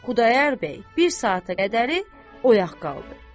Xudayar bəy bir saata qədəri oyaq qaldı.